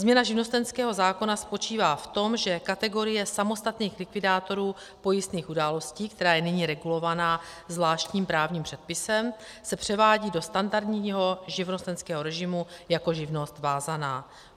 Změna živnostenského zákona spočívá v tom, že kategorie samostatných likvidátorů pojistných událostí, která je nyní regulovaná zvláštním právním předpisem, se převádí do standardního živnostenského režimu jako živnost vázaná.